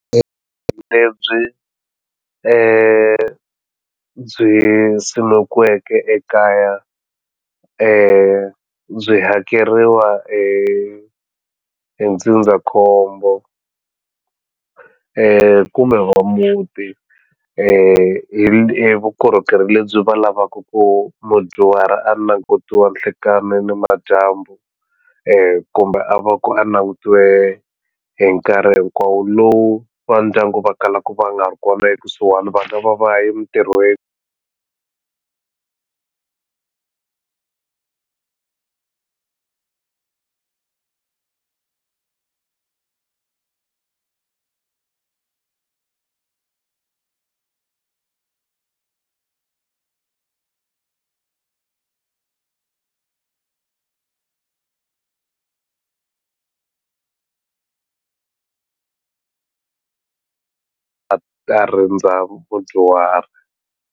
Lebyi ndzi byi simekiweke ekaya byi hakeriwa hi ndzindzakhombo kumbe va muti hi vukorhokeri lebyi va lavaku ku mudyuhari a langutiwa nhlekani ni madyambu kumbe a va ku a langutiwe hi nkarhi hinkwawo lowu va ndyangu va kalaku va nga ri kona ekusuhani va nga va va ye mitirhweni a ta rindza vudyuhari.